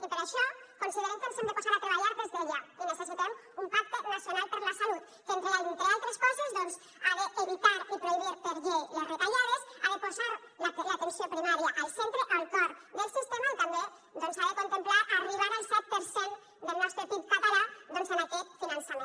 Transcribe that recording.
i per això considerem que ens hem de posar a treballar des d’ara i necessitem un pacte nacional per la salut que entre altres coses doncs ha d’evitar i prohibir per llei les retallades ha de posar l’atenció primària al centre al cor del sistema i també doncs ha de contemplar arribar al set per cent del nostre pib català en aquest finançament